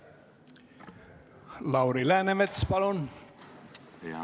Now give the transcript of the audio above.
Lauri Läänemets, palun!